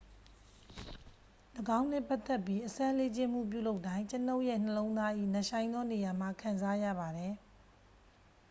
"""၎င်းနှင့် ပတ်သက်ပြီး အစမ်းလေ့ကျင့်မှု ပြုလုပ်တိုင်း ကျွန်ုပ်ရဲ့ နှလုံးသား၏ နက်ရှိုင်းသောနေရာမှ ခံစားရပါတယ်။""